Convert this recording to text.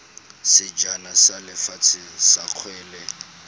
sejana sa lefatshe sa kgwele